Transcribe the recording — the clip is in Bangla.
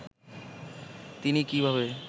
তিনি কীভাবে